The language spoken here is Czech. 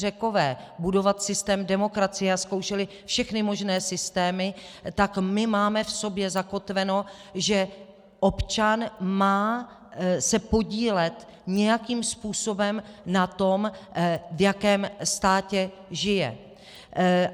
Řekové budovat systém demokracie a zkoušeli všechny možné systémy, tak my máme v sobě zakotveno, že občan se má podílet nějakým způsobem na tom, v jakém státě žije.